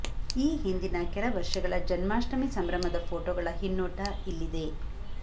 ಈ ಹಿಂದಿನ ಕೆಲ ವರ್ಷಗಳ ಜನ್ಮಾಷ್ಟಮಿ ಸಂಭ್ರಮದ ಫೊಟೋಗಳ ಹಿನ್ನೋಟ ಇಲ್ಲಿದೆ